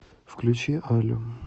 включи алю